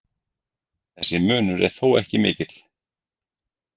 Þessi munur er þó ekki mikill.